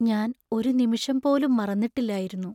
ഞാൻ ഒരു നിമിഷം പോലും മറന്നിട്ടില്ലായിരുന്നു.